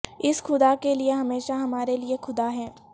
اس خدا کے لئے ہمیشہ ہمارے لئے خدا ہے